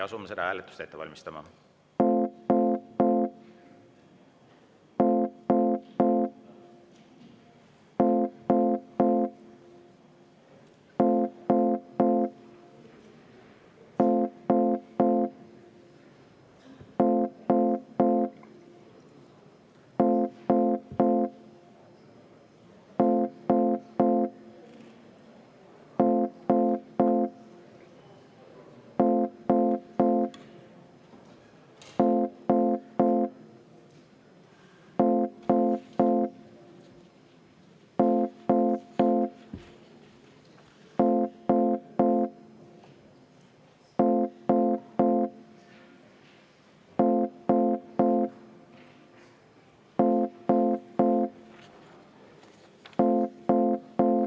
Asume seda hääletust ette valmistama.